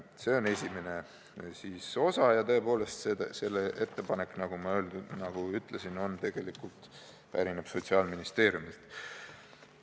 See on esimene osa ja tõepoolest, see ettepanek, nagu ma ütlesin, pärineb Sotsiaalministeeriumist.